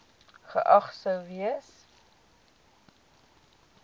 geag sou gewees